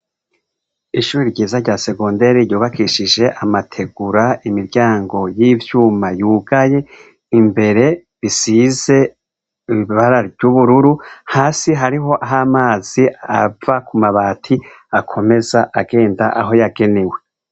Ishure ryiza rya segonderi ryubakishije amategura imiryango yivyuma yugaye, imbere risize ibara ryubururu, hasi hariho amazi ava kumabati akomeza agenda aho yagenewe.